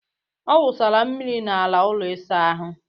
Ọ wụsara mmiri n'ala ụlọ ịsa ahụ